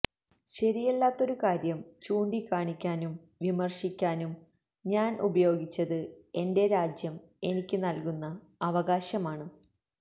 ശരിയല്ലാത്തൊരു കാര്യം ചൂണ്ടിക്കാണിക്കാനും വിമര്ശിക്കാനും ഞാന് ഉപയോഗിച്ചത് എന്റെ രാജ്യം എനിക്ക് നല്കുന്ന അവകാശമാണ്